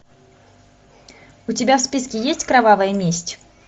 у тебя в списке есть кровавая месть